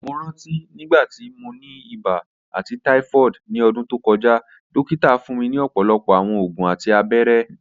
Mo ranti nigbati mo ni iba ati typhoid ni ọdun to kọja, dokita fun mi ọpọlọpọ awọn oògùn ati abẹrẹ